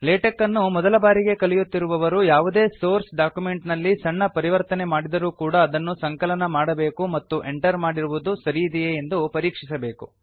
LaTeX ಅನ್ನು ಮೊದಲಬಾರಿಗೆ ಕಲಿಯುತ್ತಿರುವವರು ಯಾವುದೇ ಸೋರ್ಸ್ ಡಾಕ್ಯುಮೆಂಟ್ ನಲ್ಲಿ ಸಣ್ಣ ಪರಿವರ್ತನೆ ಮಾಡಿದರೂ ಕೂಡ ಅದನ್ನು ಸಂಕಲನ ಮಾಡಬೇಕು ಮತ್ತು ಎಂಟರ್ ಮಾಡಿರುವುದು ಸರಿಯಿದೆಯೇ ಎಂದು ಪರೀಕ್ಷಿಸಬೇಕು